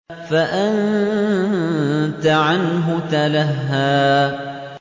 فَأَنتَ عَنْهُ تَلَهَّىٰ